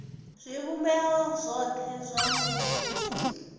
zwivhumbeo zwothe zwa muvhuso zwi